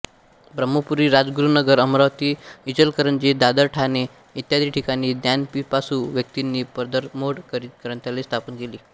ब्रह्मपुरी राजगुरुनगर अमरावती इचलकरंजी दादर ठाणे इत्यादी ठिकाणी ज्ञानपिपासू व्यक्तींनी पदरमोड करीत ग्रंथालये स्थापन केली